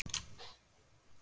Má byrja?